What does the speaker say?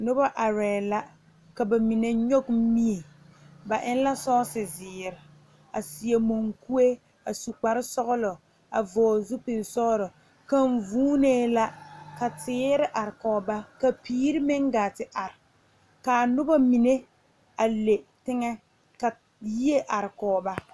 Noba arɛɛla ka ba mine nyɔge mie ba eŋ la sɔɔse zēēre a seɛ moŋkuie a su kpare sɔglɔ a vɔgle zupil sɔglɔ kaŋ vuuneela ka teere are kɔge ba ka piire meŋ gaa te are kaa noba mine a le teŋɛ ka yie are kɔg ba.